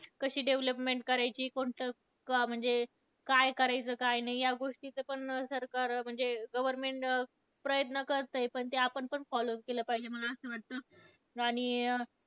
कशी development करायची, कोणत क म्हणजे काय करायचं, काय नाही या गोष्टीचं पण म्हणजे सरकार government प्रयत्न करतंय, पण ते आपण पण follow केलं पाहिजे मला असं वाटतं. आणि